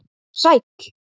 Vertu sæll.